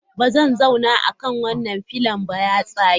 Ba zan zauna akan wannan pillion ba, ya tsage.